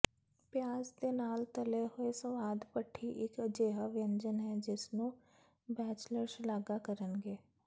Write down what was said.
ਪਿਆਜ਼ ਦੇ ਨਾਲ ਤਲੇ ਹੋਏ ਸਵਾਦ ਭੱਠੀ ਇੱਕ ਅਜਿਹਾ ਵਿਅੰਜਨ ਹੈ ਜਿਸਨੂੰ ਬੈਚਲਰ ਸ਼ਲਾਘਾ ਕਰਨਗੇ